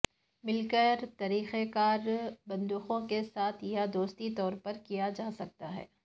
مل کر طریقہ کار بندوق کے ساتھ یا دستی طور پر کیا جا سکتا ہے